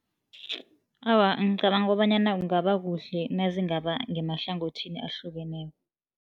Awa, ngicabanga kobanyana kungaba kuhle nazingaba ngemahlangothini ahlukeneko.